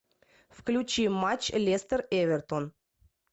включи матч лестер эвертон